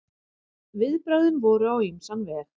Viðbrögðin voru á ýmsan veg.